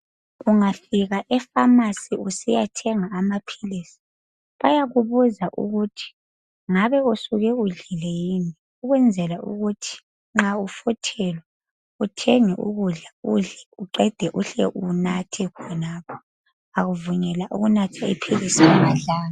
Ungafika epharmacy usiya thenga amaphilisi bayakubuza ukuthi ngabe usuke udlile yini, ukwenzela ukuthi nxa ufuthelwa uthenge ukudla udle uqede uhle unathe khonapho awuvunyelwa ukunatha iphilisi ungadlanga.